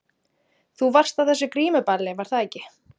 Þú varst á þessu grímuballi, var það ekki?